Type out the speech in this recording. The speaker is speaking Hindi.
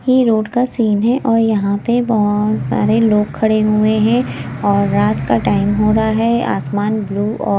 ये रोड का सीन है और यहां पे बहोत सारे लोग खड़े हुए हैं और रात का टाइम हो रहा है आसमान ब्लू औ--